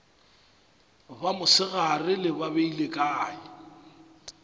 ba mosegare ba beile kae